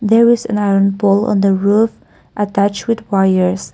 there is an iron pole in the roof attach with wires.